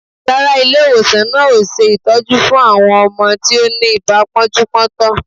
Rárá, ilé-ìwòsan náà ò ṣe ìtọ́jú fún àwọn ọmọ tí ó ní ibà pọ́njú-pọ́ntọ̀.